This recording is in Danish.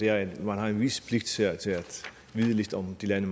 at man har en vis pligt til at vide lidt om de lande